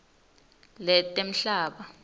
letemhlaba